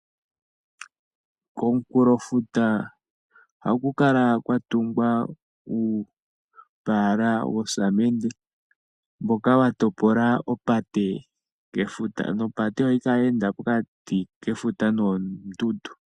Komunkulofuta ohaku kala kwatunga uupaala woosamende, mboka wa topola opate kefuta, nopate ohayi ye enda pokati kefuta noondundu.